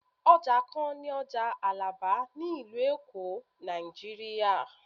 oja kan ni oja alaba ni ilu elo, Naijiriya